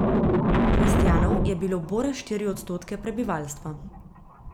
Kristjanov je bilo bore štiri odstotke prebivalstva.